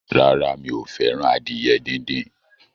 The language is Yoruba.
Rárá, mi ò fẹ́ràn adìyẹ díndín.